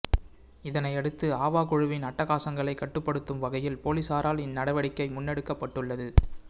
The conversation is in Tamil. இதனையடுத்து ஆவா குழுவின் அட்டகாசங்களைக் கட்டுப்படுத்தும் வகையில் பொலிஸாரால் இந்நடவடிக்கை முன்னெடுக்கப்பட்டுள்ளது